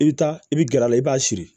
I bɛ taa i bɛ gɛrɛ a la i b'a siri